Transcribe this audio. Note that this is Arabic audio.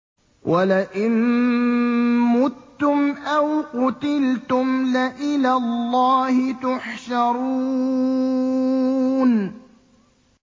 وَلَئِن مُّتُّمْ أَوْ قُتِلْتُمْ لَإِلَى اللَّهِ تُحْشَرُونَ